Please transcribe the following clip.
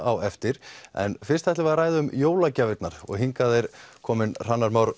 á eftir en fyrst ætlum við að ræða um jólagjafirnar hingað er kominn Hrannar Már